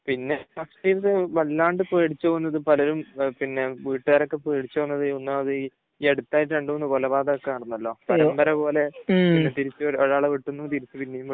പിന്നെ ഇപ്പോൾ ഇത് വല്ലാണ്ട് പേടിച്ചു പോകുന്നത്, പലരും പിന്നെ വീട്ടുകാരൊക്കെ പേടിച്ചു പോകുന്നത് ഒന്നാമത് ഈ അടുത്ത് ആയിട്ട് രണ്ടുമൂന്ന് കൊലപാതകം ഒക്കെ നടന്നല്ലോ പരമ്പര പോലെ ഒരാളെ വെട്ടുന്നു, തിരിച്ചു പിന്നെയും വെട്ടുന്നു